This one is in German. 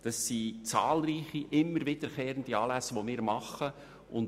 Es handelt sich um zahlreiche immer wiederkehrende Anlässe, die wir organisieren.